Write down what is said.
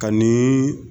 Ka ni